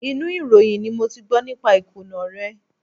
Inú ìròyìn ni mo ti gbọ́ nípa ìkùnà rẹ̀.